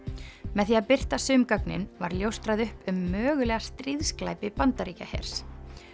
með því að birta sum gögnin var ljóstrað upp um mögulega stríðsglæpi Bandaríkjahers